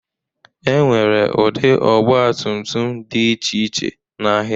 Enwere ụdị ọgba tum tum dị iche iche n'ahịa.